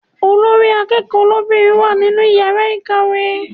Olórí akẹ́kọ̀ọ́ lóbìnrin wà nínú yàrá ìkàwé.